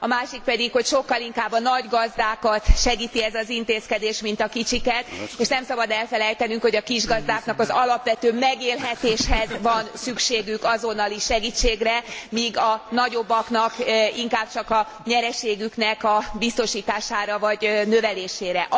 A másik pedig, hogy sokkal inkább a nagygazdákat segíti ez az intézkedés, mint a kicsiket, és nem szabad elfelejtenünk, hogy kisgazdáknak az alapvető megélhetéshez van szükségük azonnali segítségére, míg a nagyobbaknak inkább csak a nyereségüknek a biztosítására vagy növelésére.